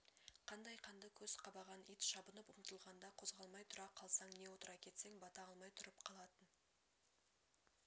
қандай қанды көз қабаған ит шабынып ұмтылғанда қозғалмай тұра қалсаң не отыра кетсең бата алмай тұрып қалатын